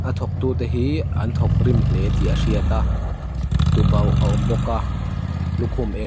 a thawk tu te hi an thawk rim hle tih a hriata tubauh a awm bawka lukhum eng --